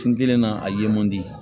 Kun kelen na a ye man di